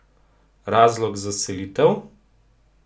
Razlog za selitev?